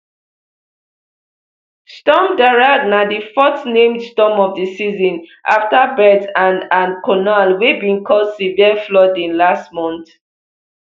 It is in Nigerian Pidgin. storm darragh na di fourth named storm of di season afta bert and and conall wey bin cause severe flooding last month